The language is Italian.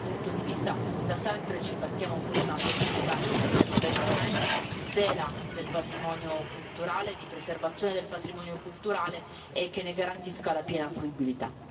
Da questo punto di vista da sempre ci battiamo per una politica di investimenti, di tutela del patrimonio culturale, di preservazione del patrimonio culturale che ne garantisca la piena fruibilità.